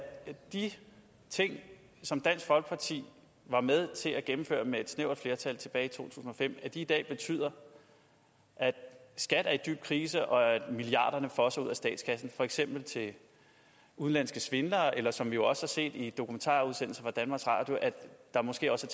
de ting som dansk folkeparti var med til at gennemføre med et snævert flertal tilbage i to tusind og fem i dag betyder at skat er i dyb krise og at milliarderne fosser ud af statskassen for eksempel til udenlandske svindlere eller som vi jo også har set i en dokumentarudsendelse fra danmarks radio at der måske også